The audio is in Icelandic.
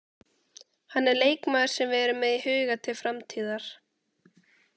Hann er leikmaður sem við erum með í huga til framtíðar.